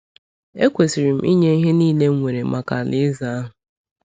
Ekwesịrị m ịnye ihe niile m nwere maka Alaeze ahụ.